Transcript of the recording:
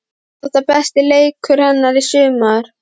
Var þetta besti leikur hennar í sumar?